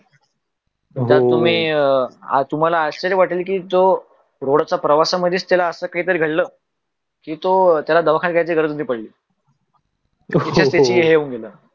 तुम्हाल आश्चर्य वाटेल कि तो रोडच्या प्र्वासामध्ये त्याला अस काही घडल कि टो त्यला दवाखाण्यात जायची गरज नाही पडली